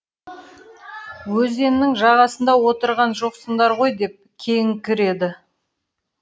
өзеннің жағасында отырған жоқсыңдар ғой деп кейіңкіреді